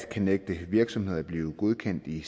kan nægte virksomheder at blive godkendt i